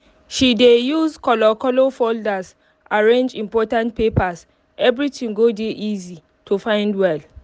she dey use color color folders arrange important papers everything go dey easy um to find well